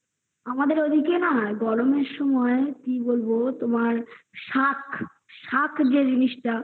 আমাদের ঐদিকে না গরমের সময় কি বলবো তোমার শাক শাক যে জিনিসটা